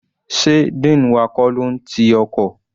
Sé dean wa kọ́ ló n ti ọkọ̀?